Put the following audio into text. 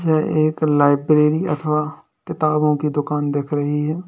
यह एक लाइब्रेरी अथवा किताबों की दुकान दिख रही है।